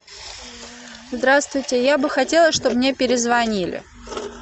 здравствуйте я бы хотела чтобы мне перезвонили